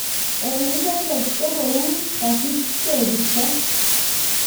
En ndedet kokou kasich tekisto